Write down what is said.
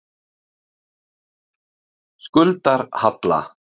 Skuldarhalla